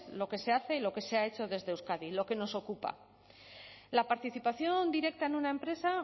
lo que se hace y lo que se ha hecho desde euskadi lo que nos ocupa la participación directa en una empresa